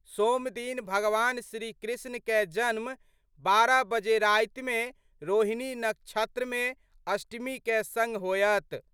सोमदिन भगवान श्री कृष्ण कए जन्म 12 बजे राति में रोहिणी नक्षत्र में अष्टमी कए संग होयत।